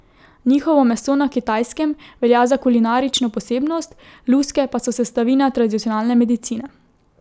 Njihovo meso na Kitajskem velja za kulinarično posebnost, luske pa so sestavina tradicionalne medicine.